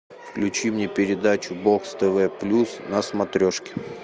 включи мне передачу бокс тв плюс на смотрешке